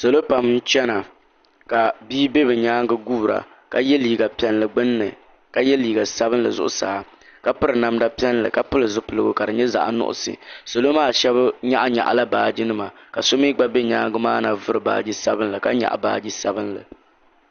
Salo pam nchɛna ka bia bɛ bi yɛanga guura ka ye liiga piɛli gbunni ka ye liiga sabinli zuɣusaa ka piri namda piɛli ka pili zipiligu ka di nyɛ zaɣi nuɣiso salo maa shɛba yɛɣi yɛɣi la baaji nima ka so mi gba bɛ yɛadua maana vori baaji sabinli ka yɛɣi baaji sabinli.